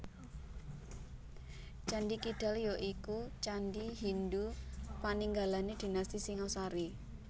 Candhi Kidal ya iku candhi Hindhu paninggalané dinasti Singasari